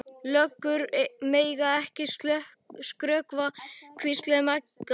Löggur mega ekki skrökva, hvíslaði Magga.